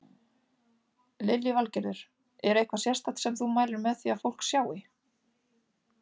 Lillý Valgerður: Er eitthvað sérstakt sem þú mælir með því að fólk sjái?